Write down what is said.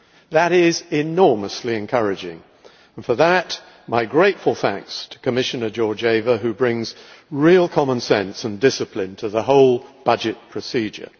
That is enormously encouraging, and for that, my grateful thanks to Commissioner Georgieva, who brings real common sense and discipline to the whole budget procedure.